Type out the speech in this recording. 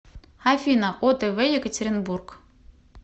афина о тэ вэ екатеринбург